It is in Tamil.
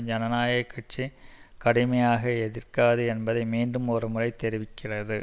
ஜனநாயக கட்சி கடுமையாக எதிர்க்காது என்பதை மீண்டும் ஒருமுறை தெரிவித்திருக்கிறது